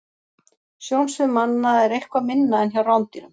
Sjónsvið manna er eitthvað minna en hjá rándýrum.